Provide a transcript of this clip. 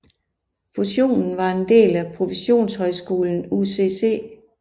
Fusionen var en del af professionshøjskolen UCC